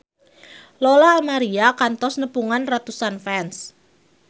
Lola Amaria kantos nepungan ratusan fans